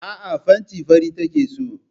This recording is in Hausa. Aa, fenti fari take so